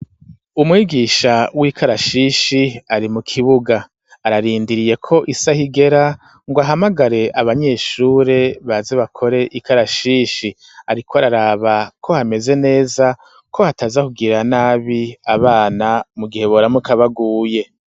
Umwigisha w'ikarashishi ari mu kibuga ararindiriye ko isaha igera ngo ahamagare abanyeshure baze bakore ikarashishi ariko araraba ko hameze neza ko hataza kugirira nabi abana mu gihe boramuka baguye.